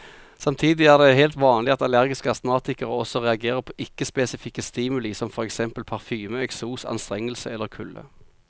Samtidig er det helt vanlig at allergiske astmatikere også reagerer på ikke spesifikke stimuli som for eksempel parfyme, eksos, anstrengelse eller kulde.